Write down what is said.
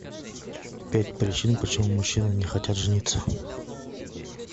пять причин почему мужчины не хотят жениться